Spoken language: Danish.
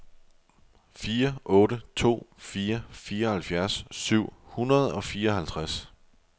fire otte to fire fireoghalvfjerds syv hundrede og fireoghalvtreds